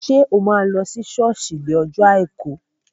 Ṣé o máa lọ sí sọ́ọ̀sì ní ọjọ́ àìkú?